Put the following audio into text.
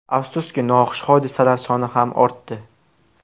Afsuski, noxush hodisalar soni ham ortdi.